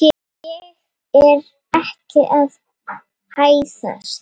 Ég er ekki að hæðast.